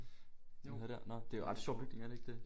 Noget dér nå det er en ret sjov bygning er det ikke det?